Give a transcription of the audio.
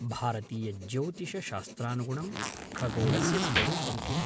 भारतीयज्यौतिषशास्त्रानुगुणं खगोळस्य स्वरूपं किम्